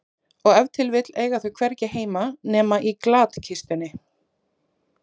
Og ef til vill eiga þau hvergi heima nema í glatkistunni.